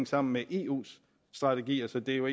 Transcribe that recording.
sammen med eus strategier så det er jo